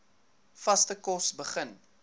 vaste kos begin